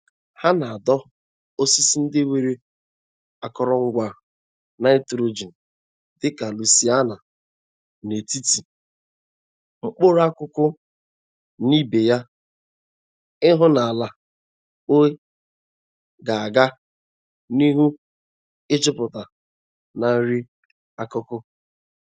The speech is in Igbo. Ha na-adọ osisi ndi nwere akọrọngwa nitrogen dịka lucaena n'etiti mkpụrụ akụkụ na ibe ya ii hụ na ala ui ga-aga n'ihu ijuputa na nri akụkụ.